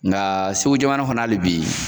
Nka Segu jamana kɔnɔ hali bi